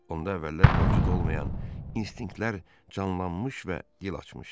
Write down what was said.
Onda əvvəllər mövcud olmayan instinktlər canlanmış və dil açmışdı.